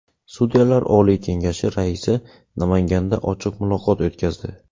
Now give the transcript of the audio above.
Sudyalar Oliy kengashi raisi Namanganda ochiq muloqot o‘tkazdi.